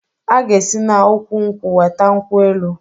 A ga esi na ụkwụ-nkwụ weta nkwụ-elụ